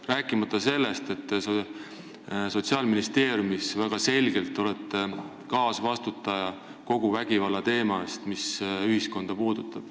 Rääkimata sellest, et te olete Sotsiaalministeeriumis väga selgelt kaasvastutaja kogu selle vägivallateema eest, mis ühiskonda puudutab.